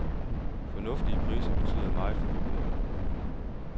Fornuftige priser betyder meget for forbrugerne.